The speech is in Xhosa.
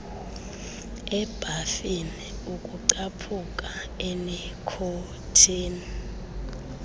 ebhafini ukucaphuka enikhothini